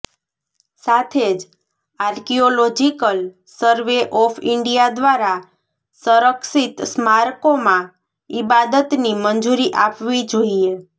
સાથે જ Archaeological Survey of India દ્વારા સંરક્ષિત સ્મારકોમાં ઇબાદતની મંજૂરી આપવી જોઇએ